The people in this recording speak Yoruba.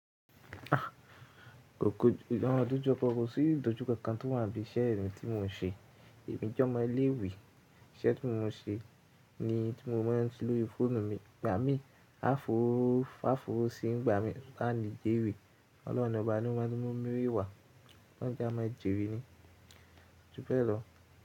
A, kòkò, àwọn ọdún tí mo kọkọ sí ìdójú kankan tó wà bí i iṣẹ́ ẹrin tí mò ń ṣe. Ẹ̀mi jọ́mọ́ ilé ìwé, iṣẹ́ tí mò ń ṣe ni tí mo máa ń lò ìfọ́nù mi, gbá mi, áfóòfò sí ń gbá mi láti jèrè. Ọlọ́run ọba ni o máa ń mú mi rí wàá lọ́jà máa jèrè ni. Tubẹ́ẹ̀rẹ́